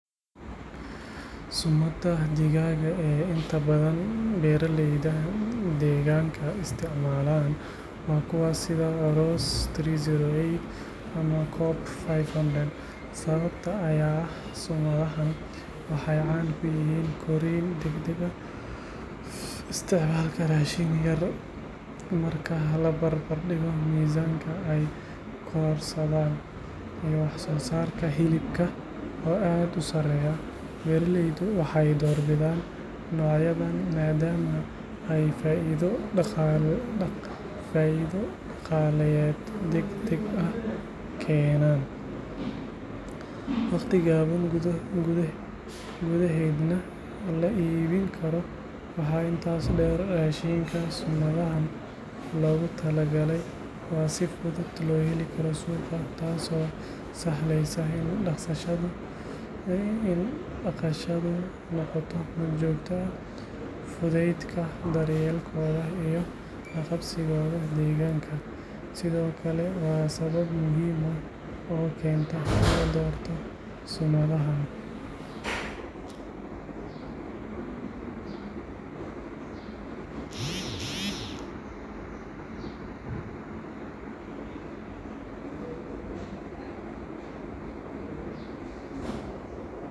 Summada digaaga ee inta badan beeraleyda deegaanka isticmaalaan waa kuwa sida Ross seddax boqol sedded ama Cobb shan boqol. Sababta ayaa ah summadahan waxay caan ku yihiin korriin degdeg ah, isticmaalka raashin yar marka la barbar dhigo miisaanka ay korodhsadaan, iyo wax-soo-saarka hilibka oo aad u sareeya. Beeraleydu waxay doorbidaan noocyadan maadaama ay faa'iido dhaqaaleyeed degdeg ah keenaan, wakhti gaaban gudaheedna la iibin karo. Waxaa intaas dheer, raashinka summadahan loogu talagalay waa si fudud loo heli karo suuqa, taasoo sahlaysa in dhaqashadu noqoto mid joogto ah. Fudaydka daryeelkooda iyo la qabsigooda deegaanka sidoo kale waa sabab muhiim ah oo keenta in la doorto summadahan.